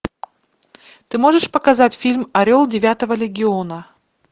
ты можешь показать фильм орел девятого легиона